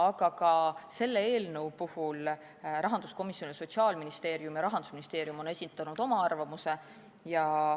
Aga ka selle eelnõu kohta on rahanduskomisjon ning Sotsiaalministeerium ja Rahandusministeerium esitanud oma arvamuse.